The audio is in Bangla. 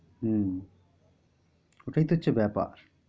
হম ওইটায় তো হচ্ছে ব্যাপার।